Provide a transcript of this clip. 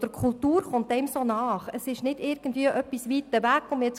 Die Kultur kommt einem sehr nahe, es ist nicht etwas, das weit weg stattfindet;